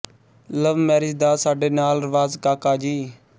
ਲਵ marriage ਦਾ ਸਾਡੇ ਨਾਲ ਰਵਾਜ਼ ਕਾਕਾ ਜੀ